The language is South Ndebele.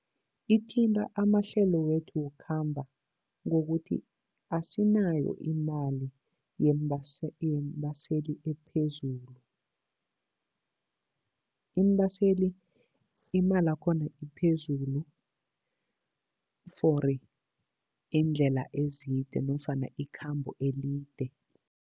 Ithinta amahlelo wethu wokukhamba ngokuthi asinayo imali yeembaseli ephezulu. Iimbaseli, imalakhona iphezulu for iindlela ezide nofana ikhambo elide.